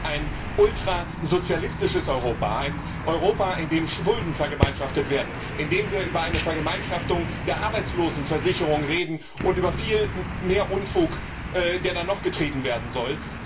Ich sehe ein ultrasozialistisches Europa, ein Europa, in dem Schulden vergemeinschaftet werden, in dem wir über eine Vergemeinschaftung der Arbeitslosenversicherung reden und über viel mehr Unfug, der da noch getrieben werden soll.